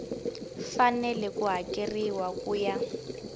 fanele ku hakeriwa ku ya